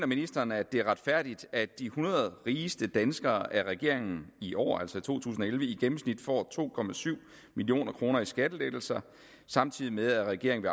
ministeren at det er retfærdigt at de hundrede rigeste danskere af regeringen i år altså i to tusind og elleve i gennemsnit får to million kroner i skattelettelser samtidig med at regeringen